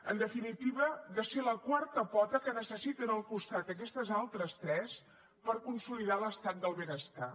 en definitiva de ser la quarta pota que necessiten al costat aquestes altres tres per consolidar l’estat del benestar